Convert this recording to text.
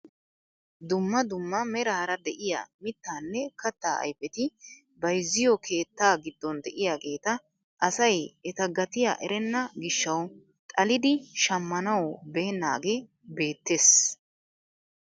Dumma dumma meraara de'iyaa mittaanne kattaa ayfeti bayzziyoo keettaa giddon de'iyaageta asay eta gatiyaa erenna gishshawu xallidi shammanawu beennagee beettees.